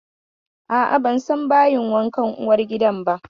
A'a, ban san bayin wankan uwargidan ba.